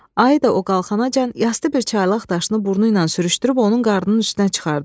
Ayı da o qalxana can yastı bir çaylaq daşını burnu ilə sürüşdürüb onun qarnının üstünə çıxardı.